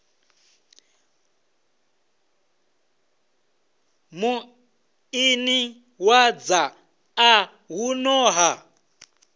muḓini wa dzaṱa huno ha